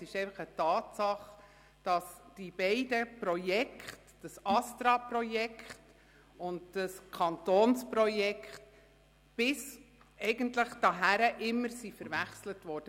Es ist einfach eine Tatsache, dass die beiden Projekte – das ASTRA-Projekt und das Kantonsprojekt – bis anhin immer verwechselt wurden.